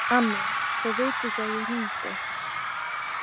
Amma, þau vita ekki að ég hringdi.